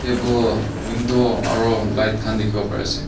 table window aro light khan dikhiwo parease.